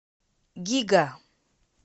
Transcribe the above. гига